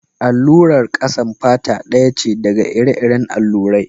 Allurar ƙasan fata ɗaya ce daga ire-iren allurai.